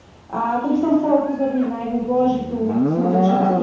A tu by som chcela upozorniť na jednu dôležitú skutočnosť.